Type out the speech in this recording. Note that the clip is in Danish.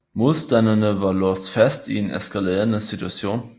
Modstanderne var låst fast i en eskalerende situation